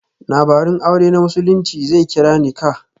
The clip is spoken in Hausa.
Labarun aure na Musulunci zai kira 'Nikah'.